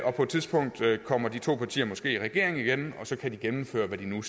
og på et tidspunkt kommer de to partier måske i regering igen så kan de gennemføre hvad de nu